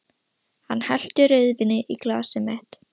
Hann hellti rauðvíni í glasið mitt.